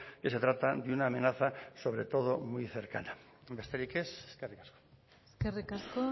que se trata de una amenaza sobre todo muy cercana besterik ez eskerrik asko eskerrik asko